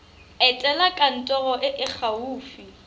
etela kantoro e e gaufi